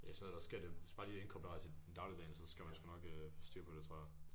Det er sådan noget så sker det det skal bare inkorporeres i dagligdagen så skal man sgu nok øh få styr på det tror jeg